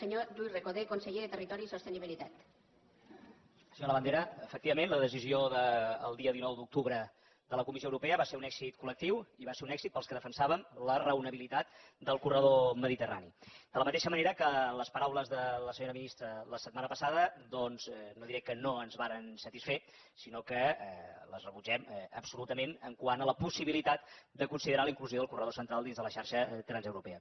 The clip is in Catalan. senyor labandera efectivament la decisió del dia dinou d’octubre de la comissió europea va ser un èxit collectiu i va ser un èxit per als que defensàvem la raonabilitat del corredor mediterrani de la mateixa manera que les paraules de la senyora ministra la setmana passada doncs no diré que no ens varen satisfer sinó que les rebutgem absolutament quant a la possibilitat de considerar la inclusió del corredor central dins de la xarxa transeuropea